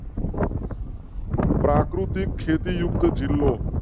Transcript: પ્રાકૃતિક ખેતી યુક્ત જિલ્લો.